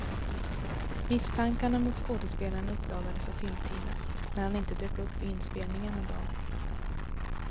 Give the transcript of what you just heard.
Misstankarna mot skådespelaren uppdagades av filmteamet när han inte dök upp vid inspelningen en dag.